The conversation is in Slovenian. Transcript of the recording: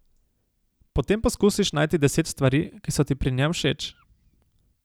Potem poskusiš najti deset stvari, ki so ti pri njem všeč.